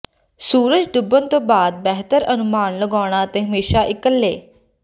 ਸੂਰਜ ਡੁੱਬਣ ਤੋਂ ਬਾਅਦ ਬਿਹਤਰ ਅਨੁਮਾਨ ਲਗਾਉਣਾ ਅਤੇ ਹਮੇਸ਼ਾਂ ਇਕੱਲੇ